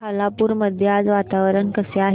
खालापूर मध्ये आज वातावरण कसे आहे